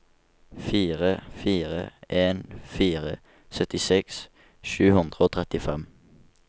fire fire en fire syttiseks sju hundre og trettifem